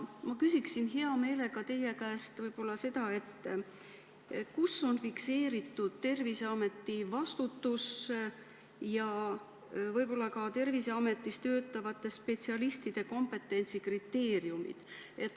Ma küsin hea meelega teie käest seda, kus on fikseeritud Terviseameti vastutus ja võib-olla ka Terviseametis töötavate spetsialistide kompetentsikriteeriumid.